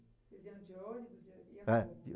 Vocês iam de ônibus? É.